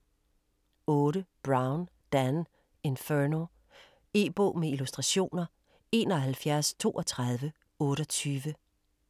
8. Brown, Dan: Inferno E-bog med illustrationer 713228